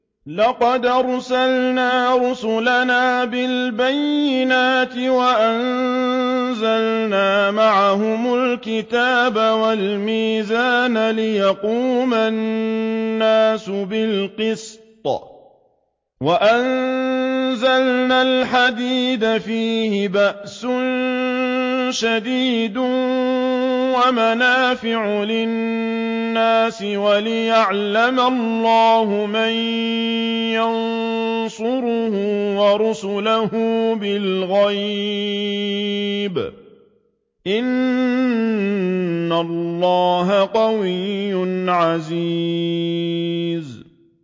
لَقَدْ أَرْسَلْنَا رُسُلَنَا بِالْبَيِّنَاتِ وَأَنزَلْنَا مَعَهُمُ الْكِتَابَ وَالْمِيزَانَ لِيَقُومَ النَّاسُ بِالْقِسْطِ ۖ وَأَنزَلْنَا الْحَدِيدَ فِيهِ بَأْسٌ شَدِيدٌ وَمَنَافِعُ لِلنَّاسِ وَلِيَعْلَمَ اللَّهُ مَن يَنصُرُهُ وَرُسُلَهُ بِالْغَيْبِ ۚ إِنَّ اللَّهَ قَوِيٌّ عَزِيزٌ